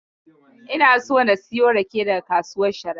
Ina son na siyo rake daga kasuwar Sharaɗa.